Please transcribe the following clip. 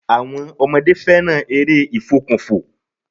Àwọmn ọmọdé fẹràn eré ìfòkùnfò.